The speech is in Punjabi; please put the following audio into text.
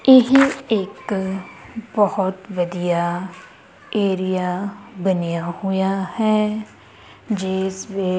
ਇਹ ਇੱਕ ਬਹੁਤ ਵਧੀਆ ਏਰੀਆ ਬਨਿਆ ਹੋਇਆ ਹੈ ਜਿੱਸ ਵਿੱਚ--